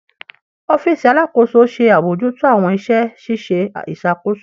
Ọfiisi Alakoso ṣe abojuto awọn iṣẹ ṣiṣe iṣakoso